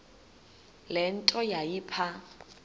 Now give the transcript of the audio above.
le nto yayipha